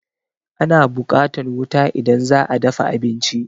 Ana buƙatan wuta idan za'a dafa abinci